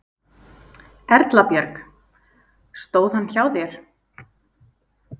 Erla Björg: Stóð hann hjá þér?